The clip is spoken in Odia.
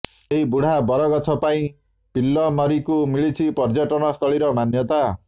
ଏହି ବୁଢା ବରଗଛ ପାଇଁ ପିଲ୍ଲମାରିକୁ ମିଳିଛି ପର୍ଯ୍ୟଟନ ସ୍ଥଳୀର ମାନ୍ୟତା